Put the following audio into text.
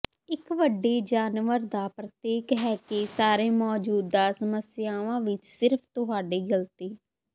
ਇੱਕ ਵੱਡੀ ਜਾਨਵਰ ਦਾ ਪ੍ਰਤੀਕ ਹੈ ਕਿ ਸਾਰੇ ਮੌਜੂਦਾ ਸਮੱਸਿਆਵਾਂ ਵਿੱਚ ਸਿਰਫ ਤੁਹਾਡੀ ਗਲਤੀ